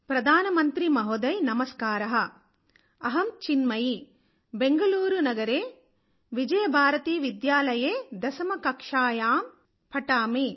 ప్రధానమంత్రి మహోదయ్ నమస్కారః అహం చిన్మయి బెంగుళూరు నగరే విజయభారతి విద్యాలయే దశమ కక్షాయాయాం పఠామి